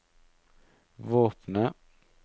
våpenet